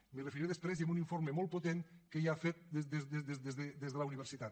m’hi referiré després i amb un informe molt potent que hi ha fet des de la universitat